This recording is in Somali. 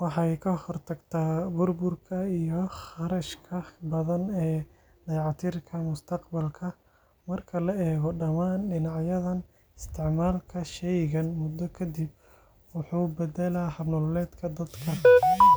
waxay ka hortagtaa burburka iyo kharashka badan ee dayactirka mustaqbalka. Marka la eego dhammaan dhinacyadan, isticmaalka shaygan muddo ka dib wuxuu beddelaa hab nololeedka dadka.